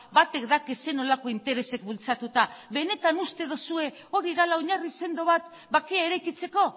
batek daki zer nolako interesek bultzatuta benetan uste duzue hori dela oinarri sendo bat bakea eraikitzeko